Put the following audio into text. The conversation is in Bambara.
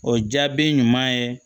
O jaabi ɲuman ye